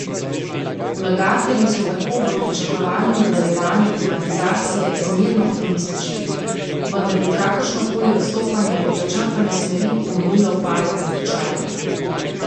Vlagatelji so tako v pričakovanju nadaljevanja privatizacije zmerno optimistični, vendar bi kakršno koli odstopanje od začrtane smeri pomenilo padec tečajev.